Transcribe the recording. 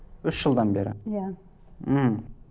үш жылдан бері иә мхм